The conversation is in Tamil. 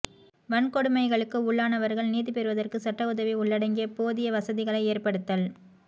வன்கொடுமைகளுக்கு உள்ளானவர்கள் நீதிபெறுவதற்கு சட்ட உதவி உள்ளடங்கிய போதிய வசதிகளை ஏற்படுத்தல்